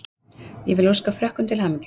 Ég vil óska Frökkum til hamingju.